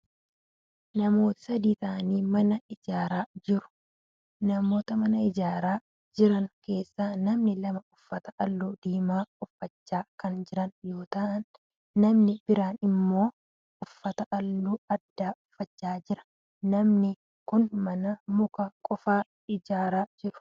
Namootni sadii ta'anii mana ijaaraa jiru. Namoota mana ijaaraa jiran keessaa namni lama uffata halluu diimaa uffacha kan jiran yoo ta'u namni biraan immoo uffata halluu addaa uffachaa jira. Namoonni kunneen mana muka qofaan ijaaraa jiru.